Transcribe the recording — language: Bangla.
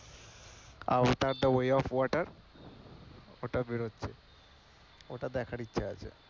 avatar টা way of water ওটা বেরোচ্ছে, ওটা দেখার ইচ্ছে আছে।